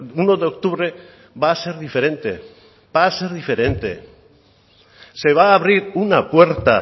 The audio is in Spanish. uno de octubre va a ser diferente va a ser diferente se va a abrir una puerta